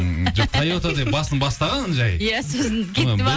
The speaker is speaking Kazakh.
ммм жоқ тойота деп басын бастаған жай иә сосын кетті ма